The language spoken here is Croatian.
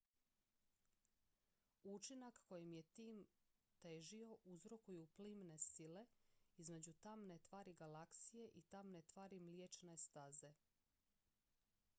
učinak kojem je tim težio uzrokuju plimne sile između tamne tvari galaksije i tamne tvari mliječne staze